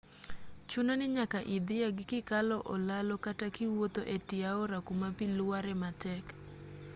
chuno ni nyaka idhieg kikalo olalo kata kiwuotho etie aora kuma bi luare matek